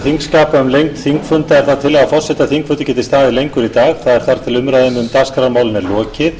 þingskapa um lengd þingfunda er það tillaga forseta að þingfundur geti staðið lengur í dag þar til umræðum um dagskrármálin er lokið